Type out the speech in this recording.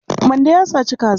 Mande ya saci kaza.